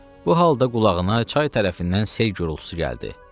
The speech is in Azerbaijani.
Bu halda qulağına çay tərəfindən sel gurultusu gəldi.